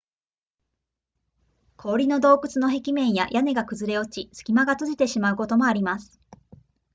氷の洞窟の壁面や屋根が崩れ落ち隙間が閉じてしまうこともあります